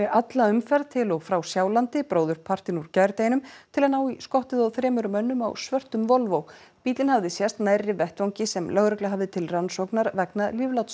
alla umferð til og frá Sjálandi bróðurpartinn úr gærdeginum til að ná í skottið á þremur mönnum á svörtum Volvo bíllinn hafði sést nærri vettvangi sem lögregla hafði til rannsóknar vegna